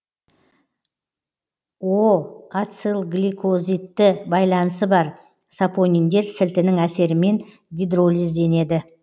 ацилгликозидты байланысы бар сапониндер сілтінің әсерімен гидролизденеді